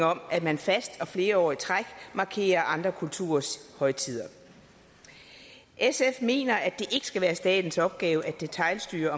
om at man fast og flere år i træk markerer andre kulturers højtider sf mener at det ikke skal være statens opgave at detailstyre